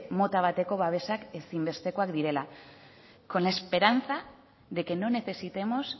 mota bateko babesa ezinbestekoak direla con la esperanza de que no necesitemos